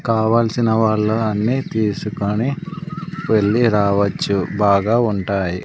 కావల్సిన వాళ్ళు అన్నీ తీసుకొని వెళ్ళి రావొచ్చు బాగా ఉంటాయి.